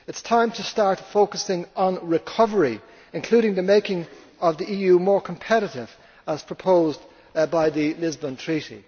issues. It is time to start focusing on recovery, including making the EU more competitive, as proposed by the Lisbon